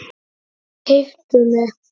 Keyptu mig?